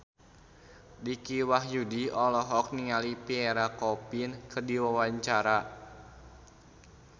Dicky Wahyudi olohok ningali Pierre Coffin keur diwawancara